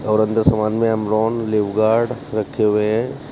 और अंदर समान में अमरोन लिवगार्ड रखे हुए हैं।